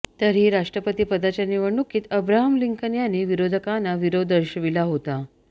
तरीही राष्ट्रपती पदाच्या निवडणुकीत अब्राहम लिंकन यांनी विरोधकांना विरोध दर्शविला होता